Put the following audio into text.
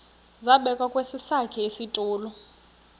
zabekwa kwesakhe isitulo